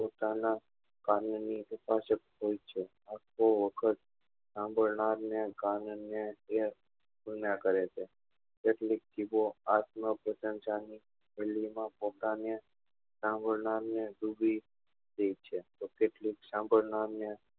સંભાળનાર ને કાન ને એ જ કરે છે કેટલીક જીભો આત્મ પ્રસંસા ની હેડી માં પોતાને સંભાળનાર ને જુદી રીત છે તો કેટલીક સંભાળનાર ને